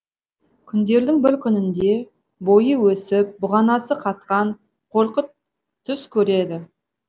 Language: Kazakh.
күндердің бір күнінде бойы өсіп бұғанасы қатқан қорқыт түс көреді